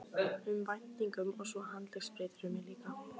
um væntingum og svo handleggsbrýturðu mig líka.